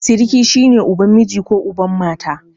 Siriki shi ne uban miji ko uban mata.